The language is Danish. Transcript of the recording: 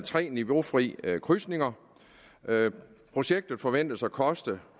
tre niveaufri krydsninger projektet forventes at koste